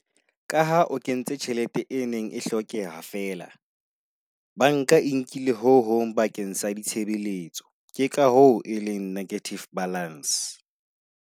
Ka ha o kentse tjhelete e neng e hlokehang fela, banka e nkile ho hong bakeng sa ditshebeletso ke ka ho e leng negative balance.